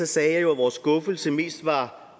sagde jeg jo at vores skuffelse mest var